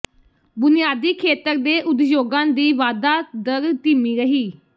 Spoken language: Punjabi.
ਬੁਨਿਆਦੀ ਖੇਤਰ ਦੇ ਉਦਯੋਗਾਂ ਦੀ ਵਾਧਾ ਦਰ ਧੀਮੀ ਰਹੀ